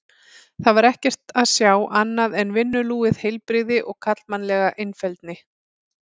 Þar var ekkert að sjá annað en vinnulúið heilbrigði og karlmannlega einfeldni.